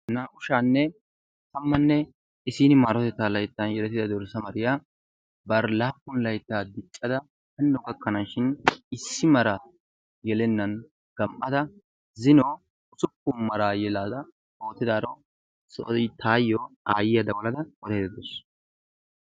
Naa"u sha'anne tammanne issiin maarotettaa layttan yelettida dorssa mariya bari laappun laytta diccada hano gakkanaashin issi maraa yelennan gam'ada zino usuppun maraa yelada ootidaaro soo taayo aayiya dawalada odaydda dawusu.